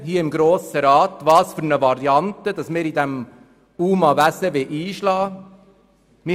Man hat hier im Grossen Rat entschieden, welche Variante in diesem UMA-Wesen eingeschlagen wird.